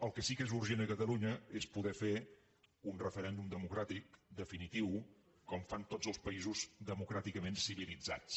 el que sí que és urgent a catalunya és poder fer un re·ferèndum democràtic definitiu com fan tots els paï·sos democràticament civilitzats